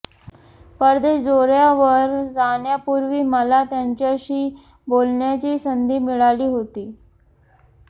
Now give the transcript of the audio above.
परदेश दौऱ्यावर जाण्यापूर्वी मला त्यांच्याशी बोलण्याची संधी मिळाली होती